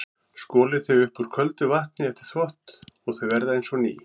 Skolið þau upp úr köldu vatni eftir þvott og þau verða eins og ný.